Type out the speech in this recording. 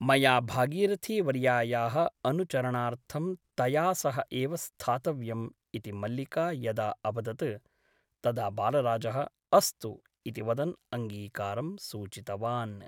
मया भागरिथीवर्यायाः अनुचरणार्थं तया सह एव स्थातव्यम् ' इति मल्लिका यदा अवदत् तदा बालराजः ' अस्तु ' इति वदन् अङ्गीकारं सूचितवान् ।